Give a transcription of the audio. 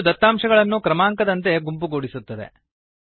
ಇದು ದತ್ತಾಂಶಗಳನ್ನುಡೇಟಾ ಕ್ರಮಾಂಕದಂತೆ ಗುಂಪುಗೂಡಿಸುತ್ತದೆ